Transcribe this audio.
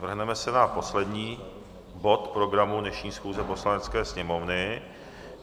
Vrhneme se na poslední bod programu dnešní schůze Poslanecké sněmovny.